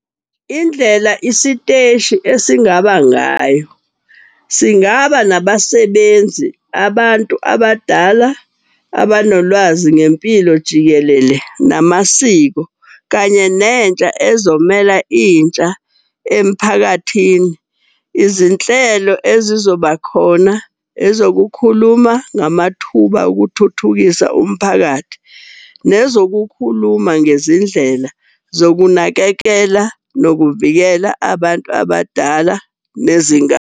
Indlela isiteshi esingaba ngayo, singaba nabasebenzi abantu abadala abanolwazi ngempilo jikelele namasiko. Kanye nentsha, ezomela intsha emphakathini. Izinhlelo ezizoba khona ezokukhuluma ngamathuba okuthuthukisa umphakathi. Nezokukhuluma ngezindlela zokunakekela nokuvikela abantu abadala .